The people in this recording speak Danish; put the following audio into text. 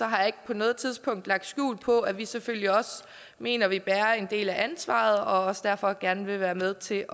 har jeg ikke på noget tidspunkt lagt skjul på at vi selvfølgelig også mener at vi bærer en del af ansvaret og derfor også gerne vil være med til